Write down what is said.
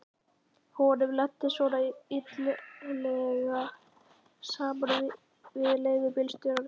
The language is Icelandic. Honum lenti svona illilega saman við leigubílstjóra.